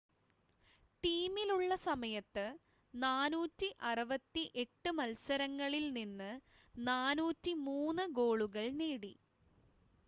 ടീമിലുള്ള സമയത്ത് 468 മത്സരങ്ങളിൽ നിന്ന് 403 ഗോളുകൾ നേടി